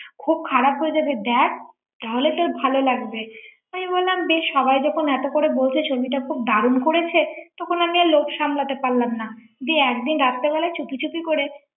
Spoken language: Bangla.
খুব খারাপ হয়ে যাবে দেখ তাহলে তোর ভালো লাগবে আমি বললাম বেশ সবাই যখন এত করে বলছে ছবিটা খুব দারুণ করেছে তখন আমি আর লোভ সামলাতে পারলাম না দিয়ে একদিন রাত্রিবেলায় চুপিচুপি করে ৷